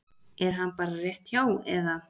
Er hann bara rétt hjá eða?